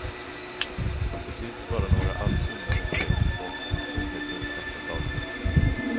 Till sist bara några allt tunnare streck på tomhetens svarta tavla.